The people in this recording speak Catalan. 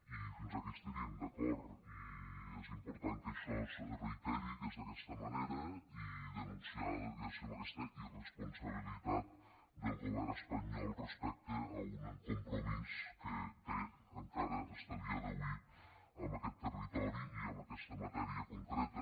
i fins aquí estaríem d’acord i és important que això es reiteri que és d’aquesta manera i denunciar diguéssim aquesta irresponsabilitat del govern espanyol respecte a un compromís que té encara fins a dia d’avui amb aquest territori i amb aquesta matèria concreta